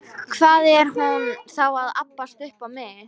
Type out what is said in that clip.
Hvað er hún þá að abbast upp á mig?